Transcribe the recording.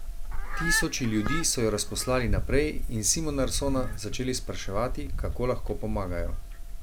Tisoči ljudi so jo razposlali naprej in Simonarsona začeli spraševati, kako lahko pomagajo.